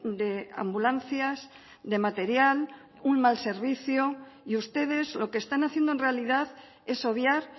de ambulancias de material un mal servicio y ustedes lo que están haciendo en realidad es obviar